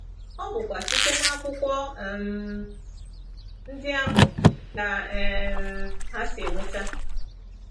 ọ bụkwa site n’akwụkwọ um ndị ahụ ka um ha si enweta...